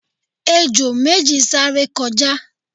ejò méji sáré kọjá